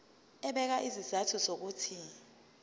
ebeka izizathu zokuthi